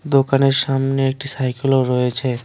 দোকানের সামনে একটি সাইকেলও রয়েছে।